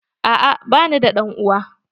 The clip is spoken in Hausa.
A'a ba ni da ɗan uwa.